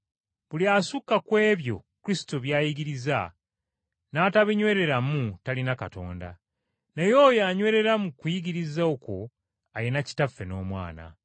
Buli asukka ku ebyo Kristo by’ayigiriza n’atabinywereramu, talina Katonda; naye oyo anywerera mu kuyigiriza okwo alina Kitaffe n’Omwana.